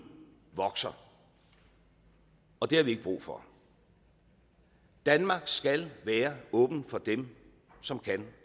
vokser og det har vi ikke brug for danmark skal være åbent for dem som kan